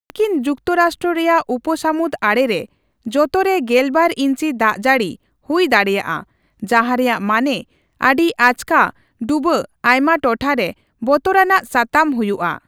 ᱢᱟᱨᱠᱤᱱ ᱡᱩᱠᱛᱚ ᱨᱟᱥᱴᱨᱚ ᱨᱮᱭᱟᱜ ᱩᱯᱚᱥᱟᱹᱢᱩᱫ ᱟᱲᱮ ᱨᱮ ᱡᱚᱛᱚᱨᱮ ᱜᱮᱞᱵᱟᱨ ᱤᱧᱪᱤ ᱫᱟᱜᱡᱟᱹᱲᱤ ᱦᱩᱭ ᱫᱟᱲᱮᱭᱟᱜᱼᱟ, ᱡᱟᱦᱟᱸ ᱨᱮᱭᱟᱜ ᱢᱟᱱᱮ ᱟᱹᱰᱤ ᱟᱪᱠᱟ ᱰᱩᱵᱟᱹ ᱟᱭᱢᱟ ᱴᱚᱴᱷᱟ ᱨᱮ ᱵᱛᱚᱨ ᱟᱱᱟᱜ ᱥᱟᱛᱟᱢ ᱦᱩᱭᱩᱜᱼᱟ ᱾